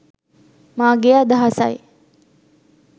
මාගේ අදහසයි